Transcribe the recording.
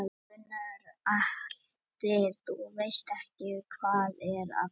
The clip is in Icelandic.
Gunnar Atli: Þú veist ekkert hvað er að fara gerast Jón?